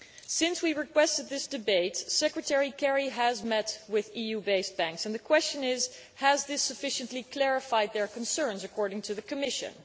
Since we requested this debate, Secretary Kerry has met with EU based banks and the question is this has this sufficiently clarified their concerns, according to the Commission?